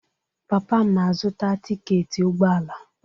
Papa m na-azụta tiketi ụgbọala.